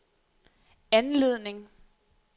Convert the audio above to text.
anledning